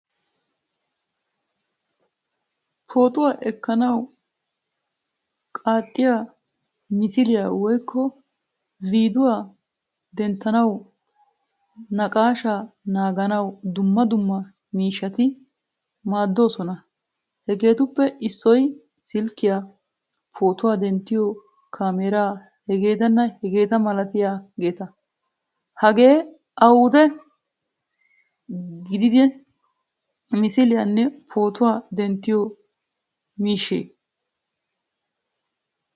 Pootuwaa ekkanawu, qaaxiyaa misiliyaa woykko viduwaa denttanawu, naaqashsha naagaanawu dumma dumma miishshatti maadoosona. Hagettuppe issoy silkkiyaa, pootuwaa denttiyo kamera h.h.m. Hagee awude giigida misiliyaane pootuwaa denttiyo miishshee?